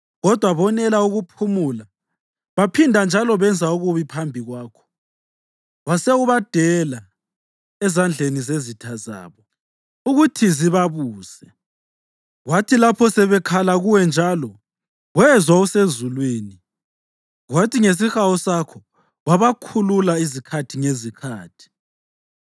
Kodwa bonela ukuphumula, baphinda njalo benza okubi phambi kwakho. Wase ubadela ezandleni zezitha zabo ukuthi zibabuse. Kwathi lapho sebekhala kuwe njalo, wezwa usezulwini, kwathi ngesihawu sakho wabakhulula izikhathi ngezikhathi.